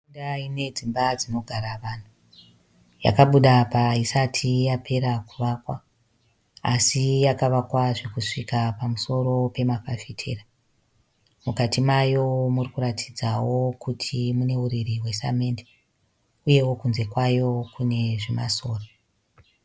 Nharaunda inedzimba dzinogara vanhu. Yakabuda apa haisati yapera kuvakwa asi yakavakwa zvokusvika pamusoro pemafafitera. Mukati mayo muri kuratidzawo kuti mune huriri hwesamende uyewo kunze kwayo kune zvimasora.